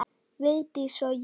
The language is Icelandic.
Vigdís og Jón.